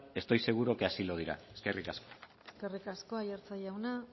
estoy seguro que así lo dirá eskerrik asko eskerrik asko aiartza jauna